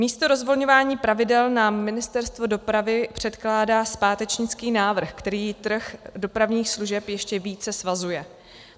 Místo rozvolňování pravidel nám Ministerstvo dopravy předkládá zpátečnický návrh, který trh dopravních služeb ještě více svazuje.